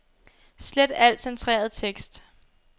Slet al centreret tekst.